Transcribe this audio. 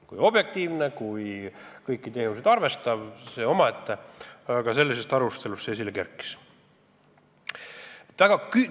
Kui objektiivne, kui kõiki tehiolusid arvestav, on omaette küsimus, aga sellises arutelus see tõdemus esile kerkis.